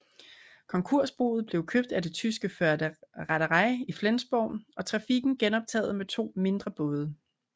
Konkursboet blev købt af det tyske Förde Reederei i Flensborg og trafikken genoptaget med to mindre både